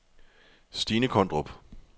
Stinne Kondrup